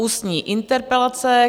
Ústní interpelace